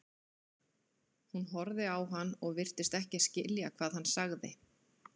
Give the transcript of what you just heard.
Hún horfði á hann og virtist ekki skilja hvað hann sagði.